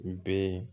N bɛ